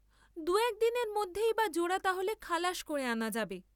দু এক দিনের মধ্যেই বা জোড়া তাহলে খালাস করে আনা যাবে।